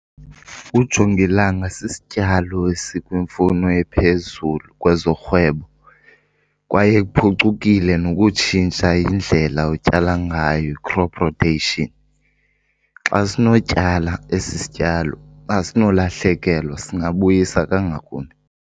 Ujongilanga sisityalo esikwimfuno ephezulu kwezorhwebo kwaye kuphucukile nokutshintsha indlela otyala ngayo, crop rotation. Xa sinotyala esi sityalo asinolahlekelwa, singabuyisa kangakumbi.